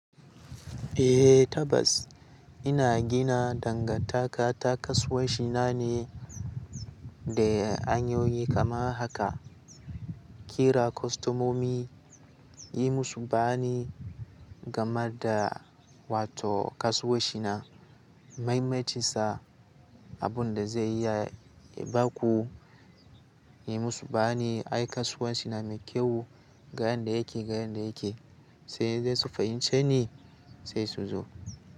Eh tabbas ina gina dangantaka ta kasuwanci na ne da hanyoyi kamar haka. Kira kostomomi yi musu bani gama da wato kasuwanci na, maimaita sa abin da zai iya ba ku yi musu bayani. Ai kasuwanci na mai kyau ga yanda yake, ga yanda yake sai zai su fahimce ni sai su zo.